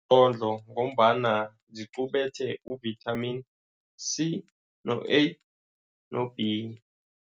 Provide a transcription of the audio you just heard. Ngombana ziqubethe u-Vitamin C, no-A no-B.